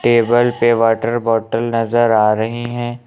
Table पे water bottle नजर आ रहे है।